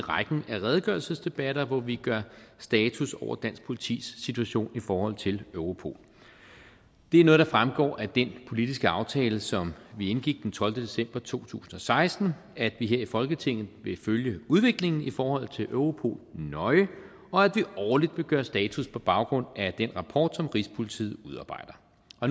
rækken af redegørelsesdebatter hvor vi gør status over dansk politis situation i forhold til europol det er noget der fremgår af den politiske aftale som vi indgik den tolvte december to tusind og seksten at vi her i folketinget vil følge udviklingen i forhold til europol nøje og at vi årligt vil gøre status på baggrund af den rapport som rigspolitiet udarbejder